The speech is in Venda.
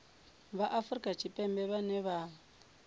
vha afrika tshipembe vhane vha